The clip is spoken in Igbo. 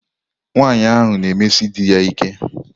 Nwanyị ahụ na-emesi di ya ike.